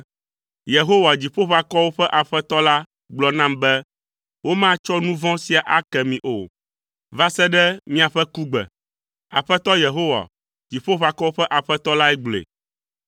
Yehowa, Dziƒoʋakɔwo ƒe Aƒetɔ la, gblɔ nam be, “Womatsɔ nu vɔ̃ sia ake mi o va se ɖe miaƒe kugbe.” Aƒetɔ Yehowa, Dziƒoʋakɔwo ƒe Aƒetɔ lae gblɔe.